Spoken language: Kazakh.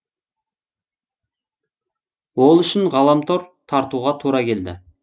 ол үшін ғаламтор тартуға тура келді